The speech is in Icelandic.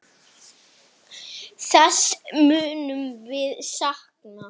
Þess munum við sakna.